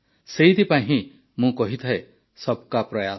ସେଇଥିପାଇଁ ହିଁ ମୁଁ କହିଥାଏ ସବ୍ କା ପ୍ରୟାସ